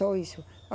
Só isso.